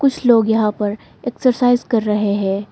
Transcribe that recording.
कुछ लोग यहां पर एक्सरसाइज कर रहे हैं।